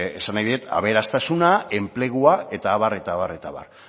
esan nahi dut aberastasuna enplegua eta abar eta abar